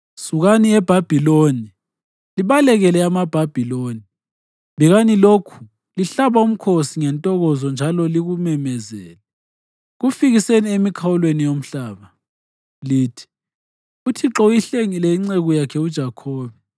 Sukani eBhabhiloni, libalekele amaBhabhiloni! Bikani lokhu lihlaba umkhosi ngentokozo njalo likumemezele. Kufikiseni emikhawulweni yomhlaba; lithi, “ UThixo uyihlengile inceku yakhe uJakhobe.”